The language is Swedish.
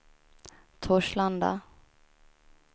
Torslanda